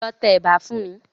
Lọ tẹ ẹ̀bà fún mi.